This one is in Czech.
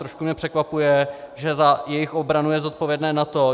Trošku mě překvapuje, že za jejich obranu je zodpovědné NATO.